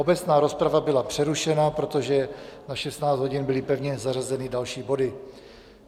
Obecná rozprava byla přerušena, protože na 16 hodin byly pevně zařazeny další body.